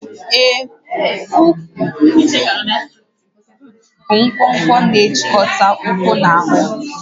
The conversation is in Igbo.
Ee, úkwú bụ nkwonkwo na-ejikọta ụkwụ na ahụ